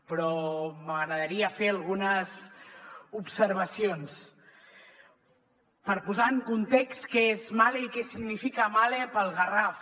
però m’agradaria fer algunes observacions per posar en context què és mahle i què significa mahle per al garraf